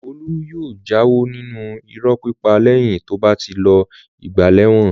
Olú yóò jáwọ́ nínú irọ́ pípa lẹ́yìn tó bá ti lo ìgbà lẹ́wọ̀n.